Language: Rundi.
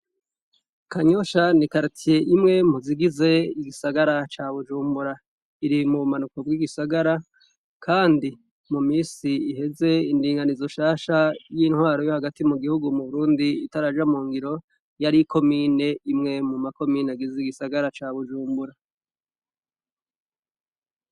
Kanyosha ni karitiye imwe mu zigize igisagara ca Bujumbura. Iri mu bumanuko bw'igisagara kandi mu minis iheze indinganizo nshasha y'intwaro yo hagati mu gihugu mu Burundi itaraja mu ngiro, yari ikomine imwe mu makomine agize igisagara ca Bujumbura.